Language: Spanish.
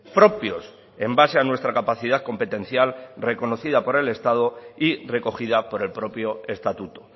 propios en base a nuestra capacidad competencial reconocida por el estado y recogida por el propio estatuto